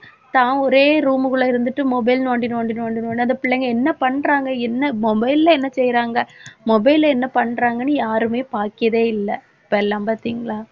தான் ஒரே room குள்ள இருந்துட்டு mobile நோண்டி நோண்டி நோண்டி நோண்டி அந்த பிள்ளைங்க என்ன பண்றாங்க என்ன mobile ல என்ன செய்யறாங்க mobile ல என்ன பண்றாங்கன்னு யாருமே பாக்கியதே இல்லை. இப்ப எல்லாம் பாத்தீங்களா